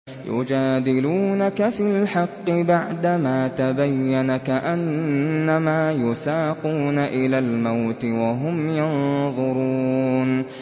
يُجَادِلُونَكَ فِي الْحَقِّ بَعْدَمَا تَبَيَّنَ كَأَنَّمَا يُسَاقُونَ إِلَى الْمَوْتِ وَهُمْ يَنظُرُونَ